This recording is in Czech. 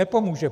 Nepomůže.